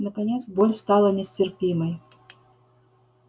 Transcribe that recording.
наконец боль стала нестерпимой